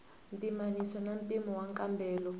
pimanisiwa na mimpimo ya nkambelo